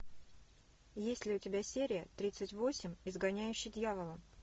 есть ли у тебя серия тридцать восемь изгоняющий дьявола